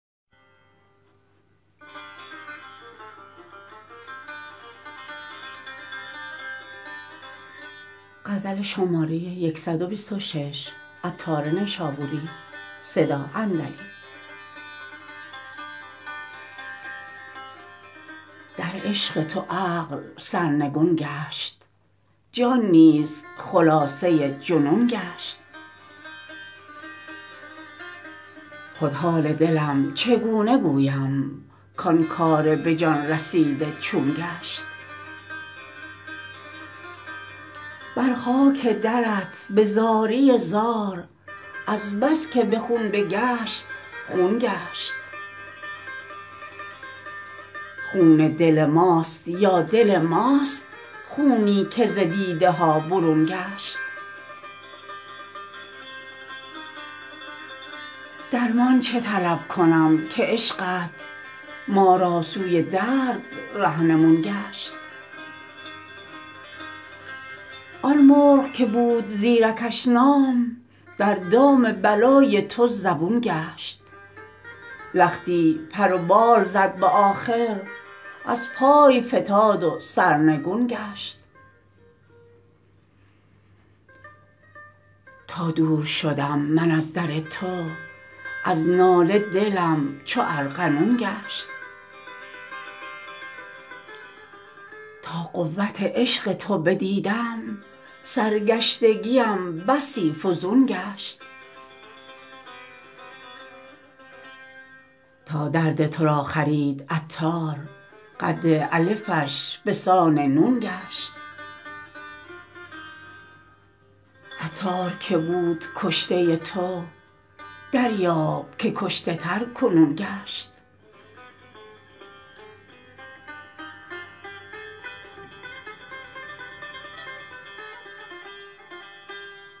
در عشق تو عقل سرنگون گشت جان نیز خلاصه جنون گشت خود حال دلم چگونه گویم کان کار به جان رسیده چون گشت بر خاک درت به زاری زار از بس که به خون بگشت خون گشت خون دل ماست یا دل ماست خونی که ز دیده ها برون گشت درمان چه طلب کنم که عشقت ما را سوی درد رهنمون گشت آن مرغ که بود زیرکش نام در دام بلای تو زبون گشت لختی پر و بال زد به آخر از پای فتاد و سرنگون گشت تا دور شدم من از در تو از ناله دلم چو ارغنون گشت تا قوت عشق تو بدیدم سرگشتگیم بسی فزون گشت تا درد تو را خرید عطار قد الفش بسان نون گشت عطار که بود کشته تو دریاب که کشته تر کنون گشت